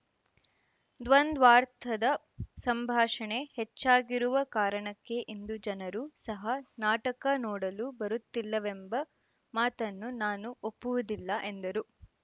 ದ್ವಂದ್ವಾರ್ಥದ ಸಂಭಾಷಣೆ ಹೆಚ್ಚಾಗಿರುವ ಕಾರಣಕ್ಕೆ ಇಂದು ಜನರು ಸಹ ನಾಟಕ ನೋಡಲು ಬರುತ್ತಿಲ್ಲವೆಂಬ ಮಾತನ್ನು ನಾನು ಒಪ್ಪುವುದಿಲ್ಲ ಎಂದರು